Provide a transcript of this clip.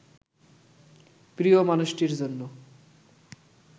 প্রিয় মানুষটির জন্য